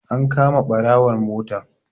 An kama ɓarawon motar.